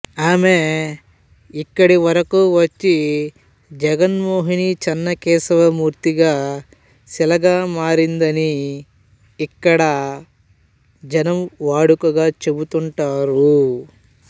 ఆమె యిక్కడి వరకూ వచ్చి జగన్మోహినీచెన్నకేశవ మూర్తిగా శిలగా మారిందని యిక్కడ జనం వాడుకగా చెబుతుంటారు